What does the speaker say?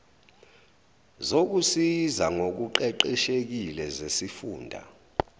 zokusiza ngokuqeqeshekile zesifunda